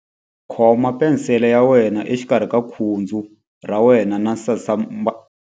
Khoma penisele ya wena exikarhi ka khudzu ra wena na sasankambana.